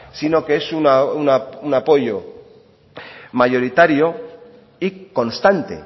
sino que es un apoyo mayoritario y constante